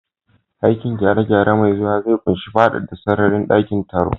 Aikin gyare-gyare mai zuwa zai ƙunshi faɗaɗa sararin dakin taro.